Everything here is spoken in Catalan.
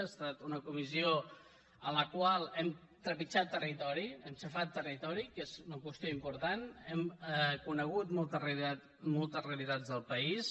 ha estat una comissió a la qual hem trepitjat territori hem xafat territori que és una qüestió important hem conegut moltes realitats del país